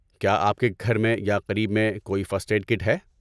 کیا آپ کے گھر میں یا قریب میں کوئی فرسٹ ایڈ کٹ ہے؟